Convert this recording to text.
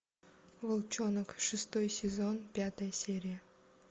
волчонок шестой сезон пятая серия